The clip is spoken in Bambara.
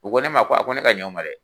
U ko ne ma ko a ko ne ka ɲa u ma dɛ.